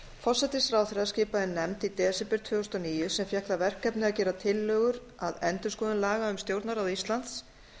forsætisráðherra skipaði nefnd í desember tvö þúsund og níu sem fékk það verkefni að gera tillögur að endurskoðun laga um stjórnarráð íslands